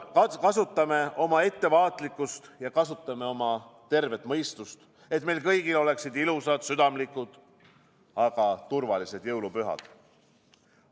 Kasutame oma ettevaatlikkust ja kasutame oma tervet mõistust, et meil kõigil oleksid ilusad, südamlikud, aga turvalised jõulupühad.